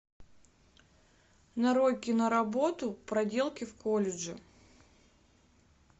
нарой киноработу проделки в колледже